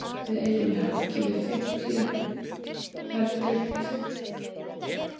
Við eigum í höggi við fimmtu herdeildina, sagði hann foxillur við vansvefta undirsáta sína.